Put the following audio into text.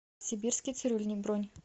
сибирский цирюльник бронь